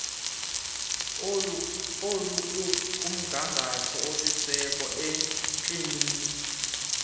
olukumgangatho osisiseko iikliniki